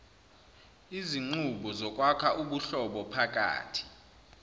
izinqubo zokwakha ubuhlobophakathi